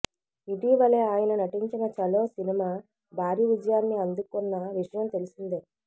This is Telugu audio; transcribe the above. ఇటివలే ఆయన నటించిన ఛలో సినిమా భారీ విజయాన్ని అందుకున్న విషయం తెలిసిందే